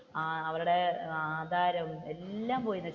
അവരുടെ ആധാരം എല്ലാം പോയി.